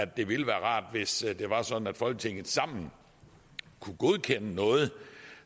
det ville være rart hvis det var sådan at folketinget samlet kunne godkende noget